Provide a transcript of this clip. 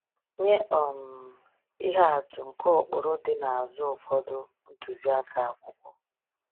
Nye um ihe atụ nke ụkpụrụ dị n’azụ ụfọdụ ntuziaka akwụkwọ.